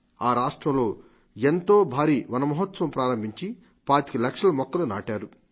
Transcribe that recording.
ఆ రాష్ట్రంలో ఎంతో భారీ మనమహోత్సవం ప్రారంభించి పాతిక లక్షల మొక్కలు నాటారు